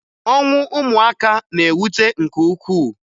Ọnwụ ụmụaka na-ewute nke ukwuu